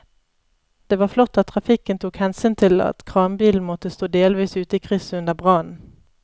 Det var flott at trafikken tok hensyn til at kranbilen måtte stå delvis ute i krysset under brannen.